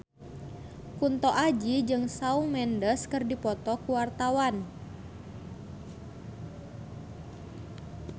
Kunto Aji jeung Shawn Mendes keur dipoto ku wartawan